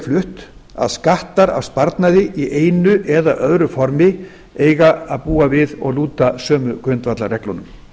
flutt að skattar af sparnaði í einu eða öðru formi eigi að búa við og lúta sömu grundvallarreglunum